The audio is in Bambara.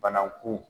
Banakun